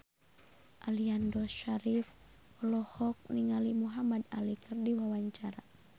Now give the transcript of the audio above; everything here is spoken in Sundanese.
Aliando Syarif olohok ningali Muhamad Ali keur diwawancara